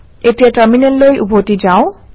এতিয়া টাৰমিনেললৈ উভতি যাওঁ